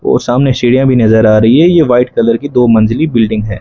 और सामने सिढीया भी नजर आ रही है यह व्हाइट कलर की दो मंजिले बिल्डिंग के है।